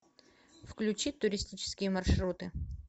включи туристические маршруты